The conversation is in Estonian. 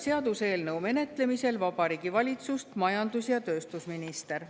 Seaduseelnõu menetlemisel Riigikogus esindab Vabariigi Valitsust majandus‑ ja tööstusminister.